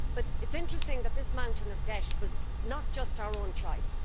It is interesting that this mountain of debt was not just our own choice.